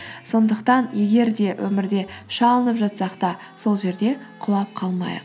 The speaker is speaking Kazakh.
сондықтан егер де өмірде шалынып жатсақ та сол жерде құлап қалмайық